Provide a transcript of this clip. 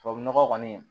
Tubabu nɔgɔ kɔni